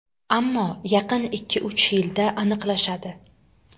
Ammo yaqin ikki-uch yilda aniqlashadi.